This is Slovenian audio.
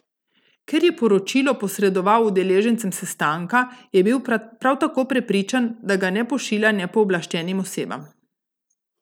Ker je poročilo posredoval udeležencem sestanka, je bil prav tako prepričan, da ga ne pošilja nepooblaščenim osebam.